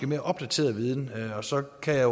mere opdateret viden så kan jeg